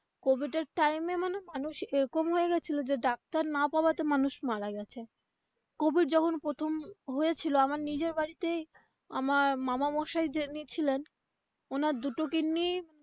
Covid এর time এ মানে মানুষ এরকম হয়েগেছিলো যে ডাক্তার না পাওয়া তে মানুষ মারা গেছে কোভিড যখন প্রথম হয়েছিল আমার নিজের বাড়িতেই আমার মামামশাই যিনি ছিলেন ওনার দুটো kidney.